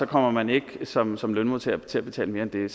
kommer man ikke som som lønmodtager til at betale mere end det